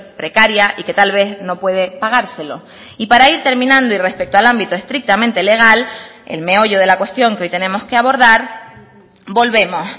precaria y que tal vez no puede pagárselo y para ir terminando y respecto al ámbito estrictamente legal el meollo de la cuestión que hoy tenemos que abordar volvemos